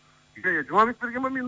иә иә жұмабек берген бе менің